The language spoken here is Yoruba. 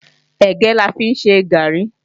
Ẹ̀gẹ́ la fi ń ṣe gààrí